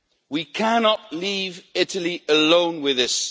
We cannot leave Italy alone with this.